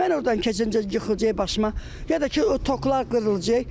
Mən ordan keçəndə yıxılacaq başıma, ya da ki, o toklar qırılacaq.